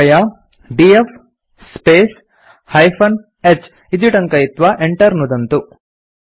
कृपया D F space -h इति टङ्कयित्वा enter नुदन्तु